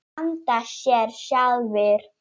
skammta sér sjálfir